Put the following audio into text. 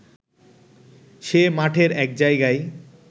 সে মাঠের এক জায়গায়